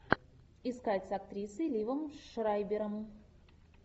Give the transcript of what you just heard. искать с актрисой ливом шрайбером